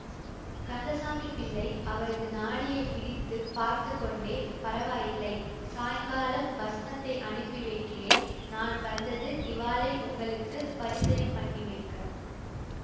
கந்தசாமி பிள்ளை அவரது நாடியைப் பிடித்து பார்த்து கொண்டே பரவாயில்லை சாயங்காலம் பஸ்மத்தை அனுப்பி வைக்கிறேன் நான் வந்தது இவாளை உங்களுக்கு பரிசயம் பண்ணி வைக்க